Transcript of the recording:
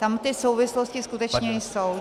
Tam ty souvislosti skutečně jsou.